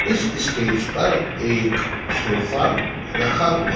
इस स्टेज पर एक सोफा रखा हुआ--